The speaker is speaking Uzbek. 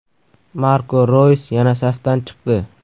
Marko Roys yana safdan chiqdi.